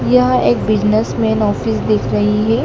यह एक businessman office दिख रही है।